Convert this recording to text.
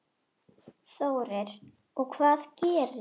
Þórir: Og hvað gerist?